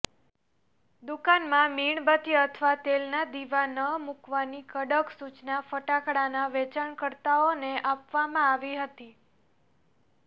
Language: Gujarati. દુકાનમાં મીણબત્તી અથવા તેલના દીવા ન મૂકવાની કડક સૂચના ફટાકડાના વેચાણકર્તાઓને આપવામાં આવી છે